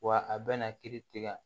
Wa a bɛna kiiri tigɛ